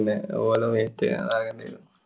അല്ലേ? ഓലെ മേയ്ക്കാൻ